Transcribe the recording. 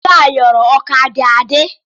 Ego ayọrọ ọ ka dị adị.